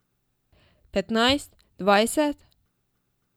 Petnajst, dvajset?